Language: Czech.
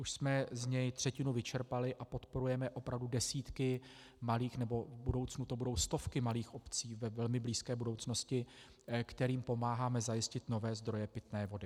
Už jsme z něj třetinu vyčerpali a podporujeme opravdu desítky malých nebo v budoucnu to budou stovky malých obcí, ve velmi blízké budoucnosti, kterým pomáháme zajistit nové zdroje pitné vody.